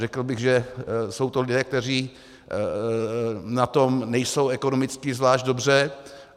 Řekl bych, že jsou to lidé, kteří na tom nejsou ekonomicky zvlášť dobře.